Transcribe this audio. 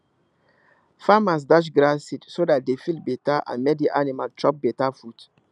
farmers dash grass seed so dat the field better and make the animal chop better food